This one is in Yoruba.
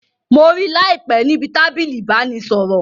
Mo rí láìpé níbi tábìlì ìbánisọ̀rọ̀